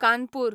Kanpur